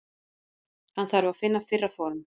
Hann þarf að finna fyrra form.